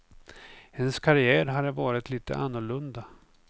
Hennes karriär har varit lite annorlunda.